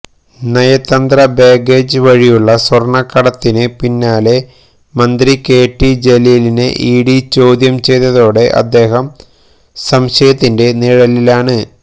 നയതന്ത്ര ബാഗേജ് വഴിയുള്ള സ്വർണക്കടത്തിന് പിന്നാലെ മന്ത്രി കെ ടി ജലീലിനെ ഇഡി ചോദ്യം ചെയ്തതോടെ അദ്ദേഹം സംശയത്തിൻ്റെ നിഴലിലാണ്